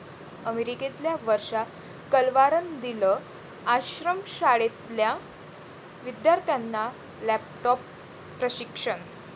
अमेरिकेतल्या वर्षा कलवारनं दिलं आश्रमशाळेतल्या विद्यार्थ्यांना लॅपटॉपचं प्रशिक्षण